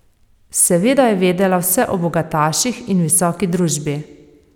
Seveda je vedela vse o bogataših in visoki družbi.